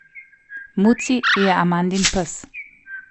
Muci je Amandin pes.